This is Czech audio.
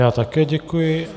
Já také děkuji.